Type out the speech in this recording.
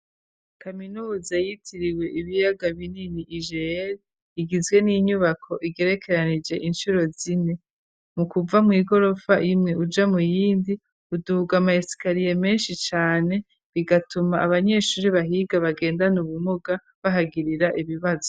Kaminuza yitiriwe ibiyaga binini ijeel igizwe n'inyubako igerekeranije inshuro zine mu kuva mu igorofa imwe uja mu yindi uduhuga amaesikariye menshi cane bigatuma abanyeshuri bahiga bagenda na ubumuga bahagirira ibibazo.